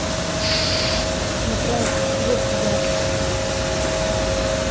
шш напряг слух гарри